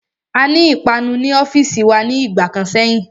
Aní ìpanu ní ọ́fìsì wa ní ìgbà kan sẹ́yìn.